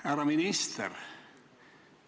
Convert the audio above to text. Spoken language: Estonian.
Härra minister!